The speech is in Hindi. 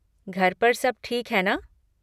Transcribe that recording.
घर पर सब ठीक है ना?